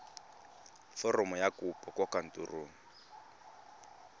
foromo ya kopo kwa kantorong